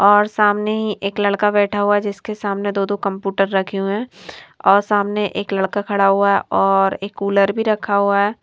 और सामने ही एक लड़का बैठा हुआ हैजिसके सामने दो-दो कम्पूटर रखे हुए हैं और सामने एक लड़का खड़ा हुआ है और एक कूलर भी रखा हुआ है।